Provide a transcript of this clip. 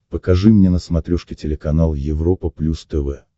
покажи мне на смотрешке телеканал европа плюс тв